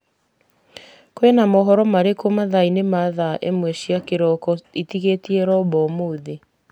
kwĩna mohoro marĩkũ mathaa-inĩ ma thaa ĩmwe cia kĩroko ĩtigĩtie robo ũmũthĩ